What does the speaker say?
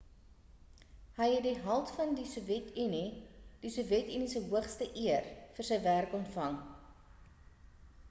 hy het die held van die sowjet unie die sowjet unie se hoogste eer vir sy werk ontvang